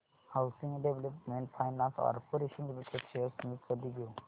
housing development finance corporation limited shares मी कधी घेऊ